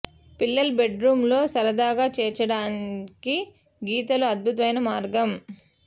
పిల్లల bedroom లో సరదాగా చేర్చడానికి గీతలు అద్భుతమైన మార్గం